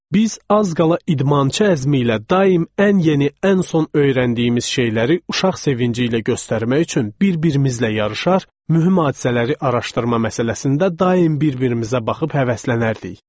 Biz az qala idmançı əzmi ilə daim ən yeni, ən son öyrəndiyimiz şeyləri uşaq sevinci ilə göstərmək üçün bir-birimizlə yarışar, mühüm hadisələri araşdırma məsələsində daim bir-birimizə baxıb həvəslənərdik.